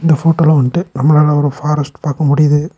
இந்த ஃபோட்டோல வந்துட்டு நம்மளால ஒரு ஃபாரஸ்ட் பாக்க முடியுது.